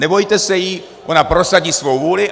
Nebojte se jí, ona prosadí svou vůli.